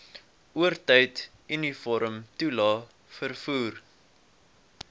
oortyd uniformtoelae vervoer